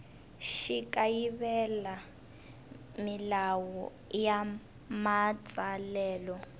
xi kayivela milawu ya matsalelo